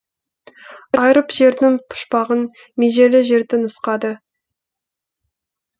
айырып жердің пұшпағын межелі жерді нұсқады